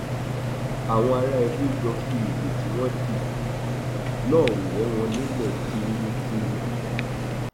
àwọn ará edo jọ fi ìbò tí wọn dì náà wọ wọn nílẹ tuurutu ni